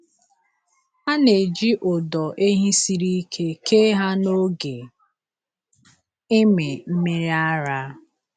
A na-eji ụdọ ehi siri ike kee ha n’oge ịmị mmiri ara.